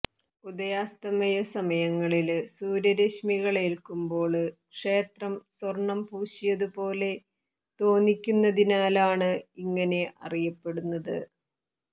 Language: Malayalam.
ഉദയാസ്തമയ സമയങ്ങളില് സൂര്യ രശ്മികളേല്ക്കുമ്പോള് ക്ഷേത്രം സ്വര്ണം പൂശിയതു പോലെ തോന്നിക്കുന്നതിനാലാണ് ഇങ്ങനെ അറിയപ്പെടുന്നത്